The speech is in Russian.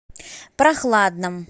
прохладном